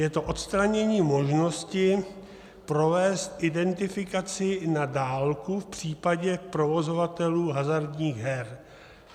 Je to odstranění možnosti provést identifikaci na dálku v případě provozovatelů hazardních her.